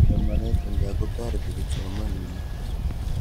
Somanet eng' kaa kotoreti kipsomaninik.